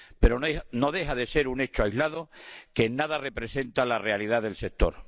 Pero no deja de ser un hecho aislado que en nada representa la realidad del sector.